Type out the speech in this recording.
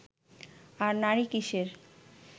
আর নারী কীসের